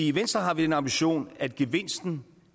i venstre har vi den ambition at gevinsten